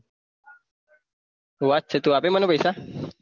સુ વાત છે તું આપે મન પૈસા